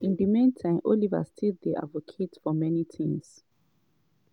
in di meantime oliver still dey advocate for many tins.